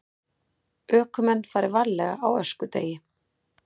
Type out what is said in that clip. Ökumenn fari varlega á öskudegi